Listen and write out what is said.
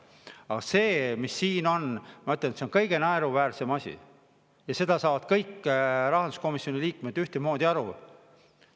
Aga selle kohta, mis siin on, ma ütlen, et see on kõige naeruväärsem asi, ja sellest saavad kõik rahanduskomisjoni liikmed ühtemoodi aru.